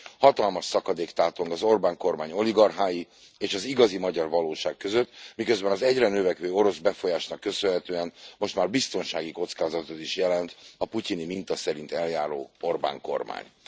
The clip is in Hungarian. Hatalmas szakadék tátong az Orbán kormány oligarchái és az igazi magyar valóság között, miközben az egyre növekvő orosz befolyásnak köszönhetően most már biztonsági kockázatot is jelent a putyini minta szerint eljáró Orbán kormány.